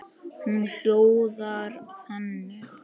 Hún hljóðar þannig